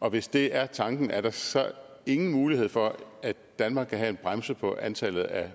og hvis det er tanken er der så ingen mulighed for at danmark kan have en bremse på antallet af